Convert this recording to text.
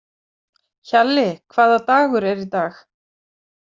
Hjalli, hvaða dagur er í dag?